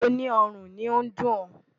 Ibo ní ọrùn ni ó dùn ọ́?